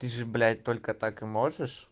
ты же блять только так и можешь